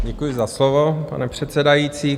Děkuji za slovo, pane předsedající.